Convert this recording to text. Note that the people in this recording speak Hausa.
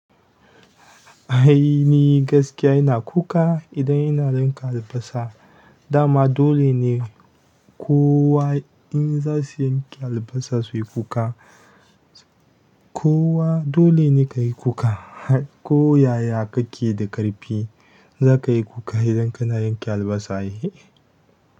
Ai ni gaskiya ina kuka idan ina yanka albasa. Dama dole ne kowa in za su yanke albasa su yi kuka. Kowa dole ne ka yi kuka. Ko yaya ka ke da ƙarfi, za ka yi kuka idan kana yanke albasa ai.